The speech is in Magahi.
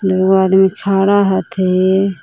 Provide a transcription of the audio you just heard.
दुगो आदमी खड़ा हथि।